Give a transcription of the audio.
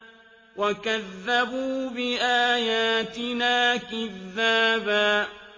وَكَذَّبُوا بِآيَاتِنَا كِذَّابًا